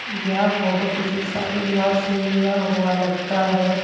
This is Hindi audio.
यह फोटो किसी शादी विवाह से लिया हुआ लगता है।